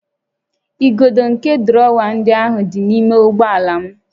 Igodo nke drọwa ndị ahụ dị n'ime ụgbọ ala m